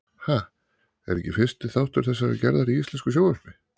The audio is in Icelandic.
Ha? er ekki fyrsti þáttur þessarar gerðar í íslensku sjónvarpi.